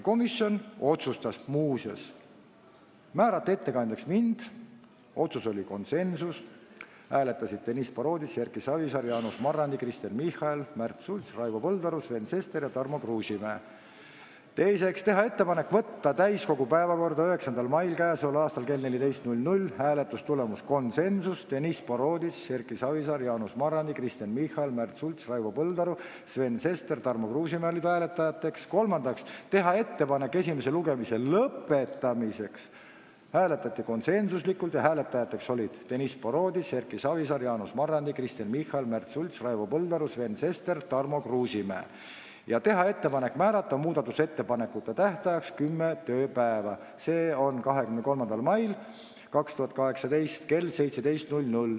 Komisjon otsustas muuseas määrata ettekandjaks mind , teiseks otsustas teha ettepaneku võtta eelnõu täiskogu päevakorda 9. mail k.a kell 14 , kolmandaks otsustas komisjon teha ettepaneku esimene lugemine lõpetada ja otsustas teha ettepaneku määrata muudatusettepanekute esitamise tähtajaks 10 tööpäeva, s.o 23. mai 2018 kell 17.00 .